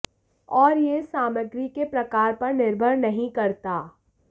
और यह सामग्री के प्रकार पर निर्भर नहीं करता